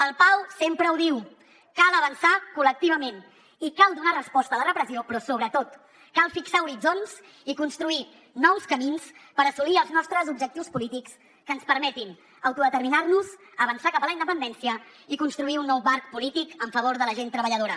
el pau sempre ho diu cal avançar col·lectivament i cal donar resposta a la repressió però sobretot cal fixar horitzons i construir nous camins per assolir els nostres objectius polítics que ens permetin autodeterminar nos avançar cap a la independència i construir un nou marc polític en favor de la gent treballadora